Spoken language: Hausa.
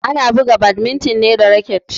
Ana buga badminton ne da raket.